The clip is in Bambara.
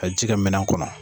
Ka ji kɛ minan kɔnɔ